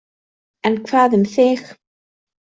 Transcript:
En hvað um þig?